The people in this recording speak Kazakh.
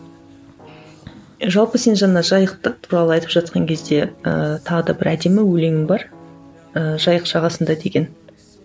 жалпы сен жаңа жайықты туралы айтып жатқан кезде ы тағы да бір әдемі өлеңің бар ыыы жайық жағасында деген